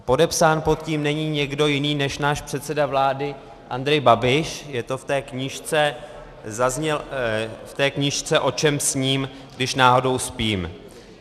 Podepsán pod tím není nikdo jiný než náš předseda vlády Andrej Babiš, je to v té knížce O čem sním, když náhodou spím.